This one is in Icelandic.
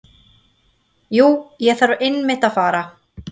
Jú, ég þarf einmitt að fara.